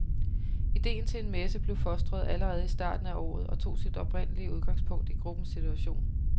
Ideen til en messe blev fostret allerede i starten af året og tog sit oprindelige udgangspunkt i gruppens situation.